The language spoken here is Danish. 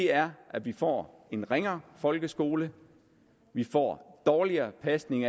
er at vi får en ringere folkeskole at vi får dårligere pasning